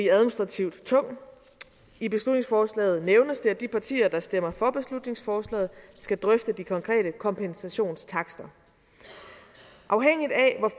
administrativt tung i beslutningsforslaget nævnes det at de partier der stemmer for beslutningsforslaget skal drøfte de konkrete kompensationstakster afhængigt af hvor